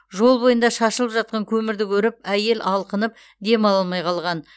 жол бойында шашылып жатқан көмірді көріп әйел алқынып дем ала алмай қалған